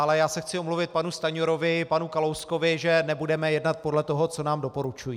Ale já se chci omluvit panu Stanjurovi, panu Kalouskovi, že nebudeme jednat podle toho, co nám doporučují.